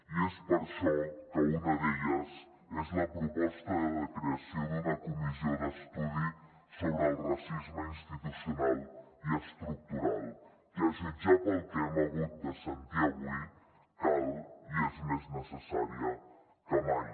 i és per això que una d’elles és la proposta de creació d’una comissió d’estudi sobre el racisme institucional i estructural que a jutjar pel que hem hagut de sentir avui cal i és més necessària que mai